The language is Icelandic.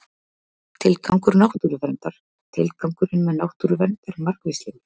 tilgangur náttúruverndar tilgangurinn með náttúruvernd er margvíslegur